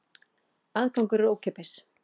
Aðgangur er ókeypis.